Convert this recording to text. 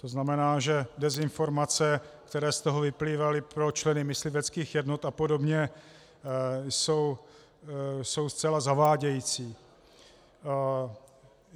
To znamená, že dezinformace, které z toho vyplývaly pro členy mysliveckých jednot a podobně jsou zcela zavádějící.